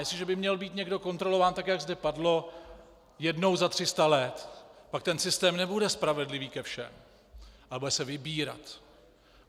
Jestliže by měl být někdo kontrolován, tak jak zde padlo, jednou za 300 let, pak ten systém nebude spravedlivý ke všem, ale bude se vybírat.